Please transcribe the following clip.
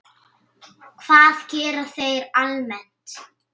Hvað gera þeir almennt?